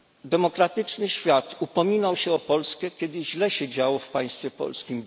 Demokratyczny świat upominał się o Polskę, kiedy źle się działo w państwie polskim.